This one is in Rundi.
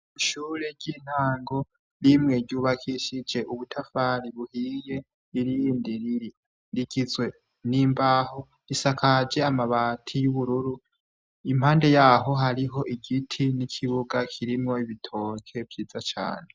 Ishure ry'intango rimwe ryubakishije ubutafari buhiye ,irindi rigizwe nimbaho risakaje amabati y'ubururu impande yaho hariho igiti nikibuga kikrimwo ibitoki vyiza cane.